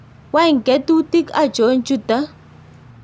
Wany ketutik achon chuton?